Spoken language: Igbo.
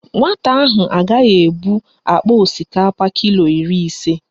Nwata ahụ agaghị ebu akpa osikapa kilo iri ise.